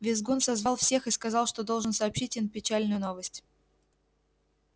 визгун созвал всех и сказал что должен сообщить им печальную новость